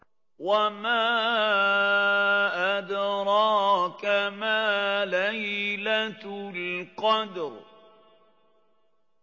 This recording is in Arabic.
وَمَا أَدْرَاكَ مَا لَيْلَةُ الْقَدْرِ